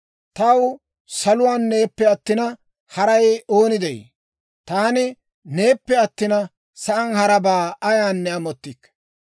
Taw saluwaan neeppe attina, haray ooni de'ii? Taani neeppe attina, sa'aan harabaa ayaanne amottikke.